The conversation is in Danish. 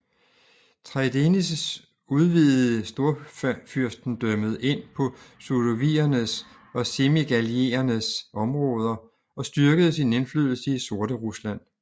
Traidenis udvidede Storfyrstendømmet ind på sudoviernes og semigaliernes områder og styrkede sin indflydelse i Sorterusland